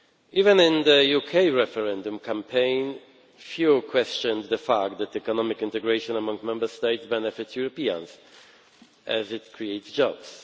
Even in the UK referendum campaign, few questioned the fact that economic integration among Member States benefits Europeans, as it creates jobs.